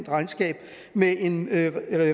regnskab med en